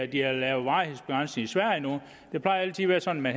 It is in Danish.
de har lavet varighedsbegrænsning i sverige nu det plejer altid at være sådan at